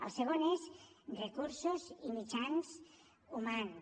el segon són recursos i mitjans humans